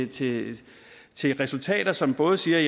til til resultater som både siger